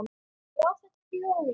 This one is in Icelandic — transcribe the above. Já, þetta eru jólin!